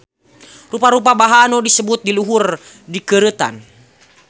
Rupa-rupa bahan nu disebut di luhur dikeureutan